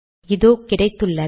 இதோ கிடைத்துள்ளது